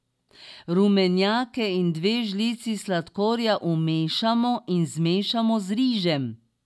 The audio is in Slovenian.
Rumenjake in dve žlici sladkorja umešamo in zmešamo z rižem.